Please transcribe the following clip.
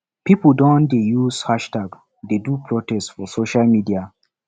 pipo don dey use hashtag dey do protest for social media